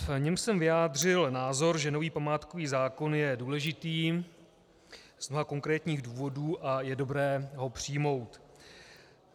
V něm jsem vyjádřil názor, že nový památkový zákon je důležitý z mnoha konkrétních důvodů a je dobré ho přijmout.